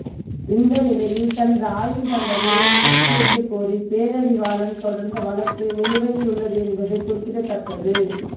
இந்த நிலையில் தனது ஆயுள் தண்டனையை நிறுத்தி வைக்கக் கோரி பேரறிவாளன் தொடர்ந்த வழக்கு நிலுவையில் உள்ளது என்பது குறிப்பிடத்தக்கது